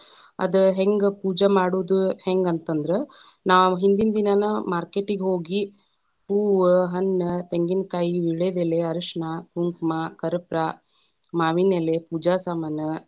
ಅದ ಹೆಂಗ್ ಪೂಜಾ ಮಾಡುದು ಹೆಂಗ ಅಂತ ಅಂದ್ರ, ನಾವ್‌ ಹಿಂದಿನ ದಿನಾನ market ಗೆ ಹೋಗಿ ಹೂವ, ಹಣ್ಣ, ತೆಂಗಿನಕಾಯಿ, ವಿಳ್ಯದೆಲೆ, ಅರಷಣ, ಕುಂಕುಮ, ಕಪೂ೯ರ, ಮಾವಿನಎಲೆ, ಪೂಜಾ ಸಾಮಾನ.